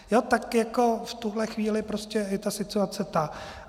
Tak jako v tuto chvíli prostě je ta situace tak.